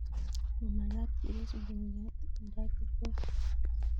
Mamagtat kepis mugongiot nda kikol